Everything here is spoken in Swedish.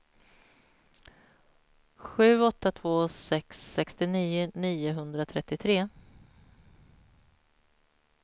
sju åtta två sex sextionio niohundratrettiotre